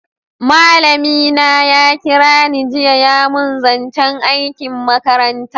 Malami na ya kira ni jiya ya mun zancen aikin makaranta